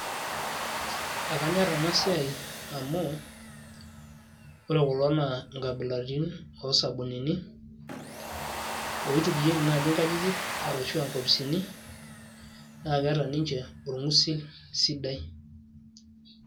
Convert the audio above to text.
ekanyor ena siai amu ore kulo nnaa inkabilaritin oosabunini oitukuyieki naaji inkajijik ashu inkopisini, naa keeta ninche olgusil sidai.